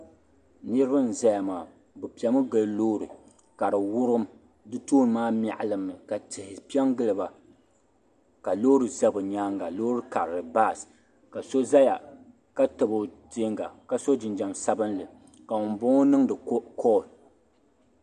Niribi n zaya maa bɛ piɛmi n gili loori ka di wurim di tooni maa mɛɣilimi ka tihi piɛ n giliba ka loori za bi nyaaŋa loori karili bas ka so zaya ka tabi o tɛɛnga ka so jinjam sabinli ka ŋun bo ŋɔ niŋdi cal.